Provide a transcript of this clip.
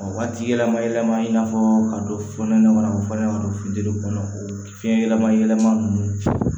Waati yɛlɛma yɛlɛma i n'a fɔ ka dɔ fununen ɲɔgɔn na ka fɔ ɲama don funteni kɔnɔ o fiɲɛ yɛlɛma yɛlɛma nunnu